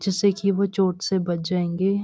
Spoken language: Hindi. जिससे की वो चोट से बच जाएंगे।